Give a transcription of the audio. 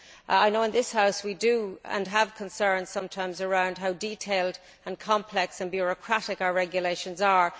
I know in this House we have concerns sometimes around how detailed and complex and bureaucratic our regulations are.